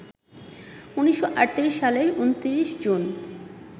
১৯৩৮ সালের ২৯ জুন